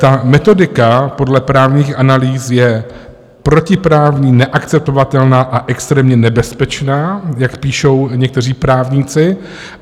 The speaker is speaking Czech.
Ta metodika podle právních analýz je protiprávní, neakceptovatelná a extrémně nebezpečná, jak píšou někteří právníci.